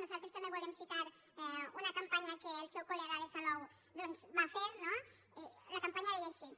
nosaltres també volem citar una campanya que el seu collou doncs va fer no i la campanya deia així